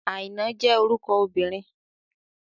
Àìná jẹ́ orúkọ obìnrin.